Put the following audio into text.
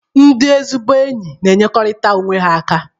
Ndị ezigbo enyi n'enyekọrịtara onwe ha aka.